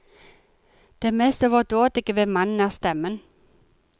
Det mest overdådige ved mannen er stemmen.